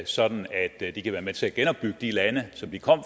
sådan at de kan være med til at genopbygge de lande som de kom